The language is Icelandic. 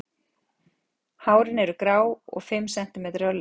Hárin eru grá og um fimm sentimetrar á lengd.